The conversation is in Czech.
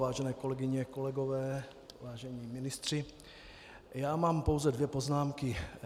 Vážené kolegyně, kolegové, vážení ministři, já mám pouze dvě poznámky.